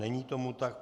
Není tomu tak.